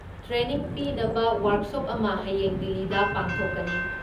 Training ꯄꯤꯅꯕ workshop ꯑꯃ ꯍꯌꯦꯡ ꯗꯤꯜꯂꯤꯗ ꯄꯥꯡꯊꯣꯛꯀꯅꯤ ꯫